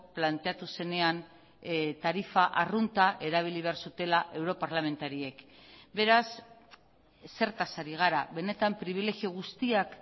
planteatu zenean tarifa arrunta erabili behar zutela europarlamentariek beraz zertaz ari gara benetan pribilegio guztiak